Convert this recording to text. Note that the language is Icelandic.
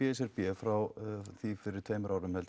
frá því fyrri tveim árum